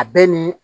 A bɛ ni